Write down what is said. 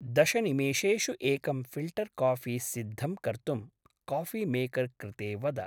दशनिमेषेषु एकं फ़िल्टर्काफ़ी सिद्धं कर्तुं काफ़िमेकर् कृते वद।